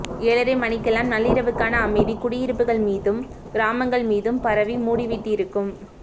ஏழரை மணிக்கெல்லாம் நள்ளிரவுக்கான அமைதி குடியிருப்புகள் மீதும் கிராமங்கள் மீதும் பரவிமூடிவிட்டிருக்கும்